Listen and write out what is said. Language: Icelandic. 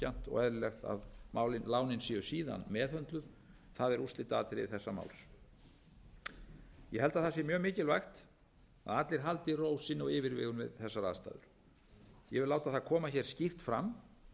og eðlilegt að lánin séu síðan meðhöndluð það er úrslitaatriði þessa máls ég held að sé mjög mikilvægt að allir haldi ró sinni og yfirvegun við þessar aðstæður ég vil láta það koma hér skýrt fram